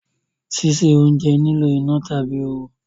Sise ounje nilo ina tabi ooru